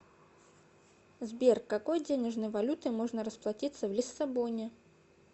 сбер какой денежной валютой можно расплатиться в лиссабоне